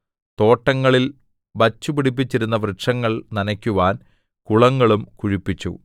തോട്ടങ്ങളിൽ വച്ചുപിടിപ്പിച്ചിരുന്ന വൃക്ഷങ്ങൾ നനയ്ക്കുവാൻ കുളങ്ങളും കുഴിപ്പിച്ചു